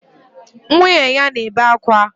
Nwunye ya na-ebe akwa.